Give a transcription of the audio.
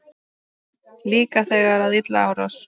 Líka þegar að illa árar?